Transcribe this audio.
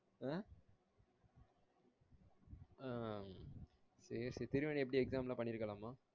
அஹ் ஹம் சேரி சேரி திருவேணி எப்படி exam லாம் பண்ணிருக்காளமா?